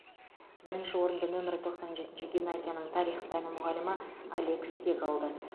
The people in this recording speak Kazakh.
бірінші орынды нөмірі тоқсан жетінші гимназияның тарих пәні мұғалімі олег тег алды